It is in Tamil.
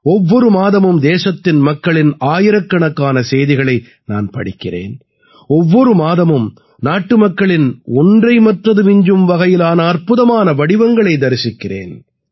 ஒவ்வொரு மாதமும் தேசத்தின் மக்களின் ஆயிரக்கணக்கான செய்திகளை நான் படிக்கிறேன் ஒவ்வொரு மாதமும் நாட்டுமக்களின் ஒன்றை மற்றது விஞ்சும் வகையிலான அற்புதமான வடிவங்களை தரிசிக்கிறேன்